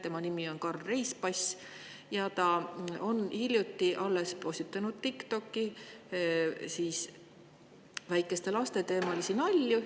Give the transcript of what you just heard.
Tema nimi on Karl Reispass ja ta on alles hiljuti postitanud TikTokki väikeste laste teemalisi nalju.